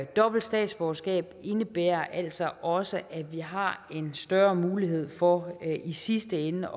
dobbelt statsborgerskab indebærer altså også at vi har en større mulighed for i sidste ende